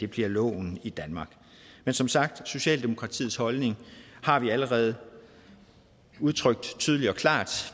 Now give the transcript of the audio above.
bliver loven i danmark men som sagt socialdemokratiets holdning har vi allerede udtrykt tydeligt og klart